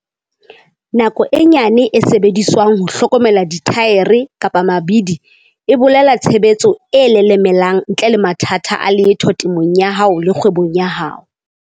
Nako e nyane e sebediswang ho hlokomela dithaere-mabidi e bolela tshebetso e lelemelang ntle le mathata a letho temong ya hao le kgwebong ya hao.